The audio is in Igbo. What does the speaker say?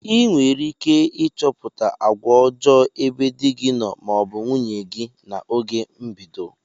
ịnwerike ichọpụta agwa ọjo ebe di gi noo ma ọ bụ nwunye gi na oge mbedo.